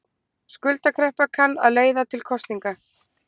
Skuldakreppa kann að leiða til kosninga